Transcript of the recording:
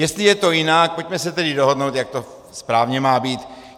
Jestli je to jinak, pojďme se tedy dohodnout, jak to správně má být.